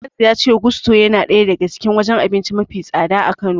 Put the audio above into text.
Anas ya ce Gusto yana daya daga cikin wajen abinci mafi tsada a Kano.